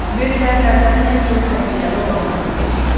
Verilənlərdən ən çox təhlükəli olanları seçin.